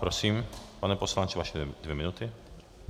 Prosím, pane poslanče, vaše dvě minuty.